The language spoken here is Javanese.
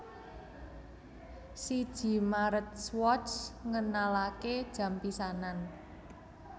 Siji Maret Swatch ngenalaké jam pisanan